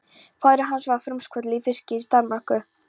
Faðir hans var frumkvöðull í fiskeldi í Danmörku.